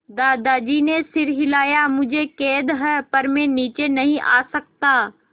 दादाजी ने सिर हिलाया मुझे खेद है पर मैं नीचे नहीं आ सकता